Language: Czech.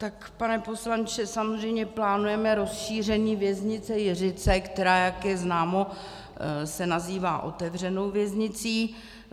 Tak pane poslanče, samozřejmě plánujeme rozšíření věznice Jiřice, která, jak je známo, se nazývá otevřenou věznicí.